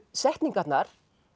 setningarnar